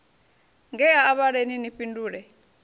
ngea a vhaleni ni fhindule